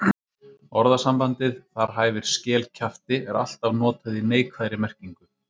Orðasambandið þar hæfir skel kjafti er alltaf notað í neikvæðri merkingu.